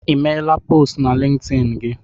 Ị meela postu na Lintin gị?